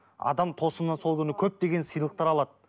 адам тосыннан сол күні көптеген сыйлықтар алады